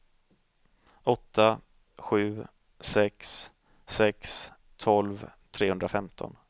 åtta sju sex sex tolv trehundrafemton